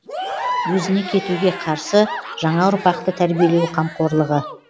өзіне кетуге қарсы жаңаұрпақты тәрбиелеу қамқорлығы